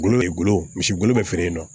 Gulɔ bɛ gulɔ misi gulo bɛ feere yen nɔ